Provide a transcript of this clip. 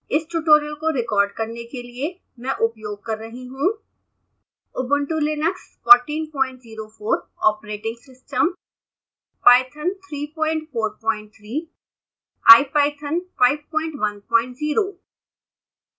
इस tutorial को record करने के लिए मैं उपयोग कर रही हूँ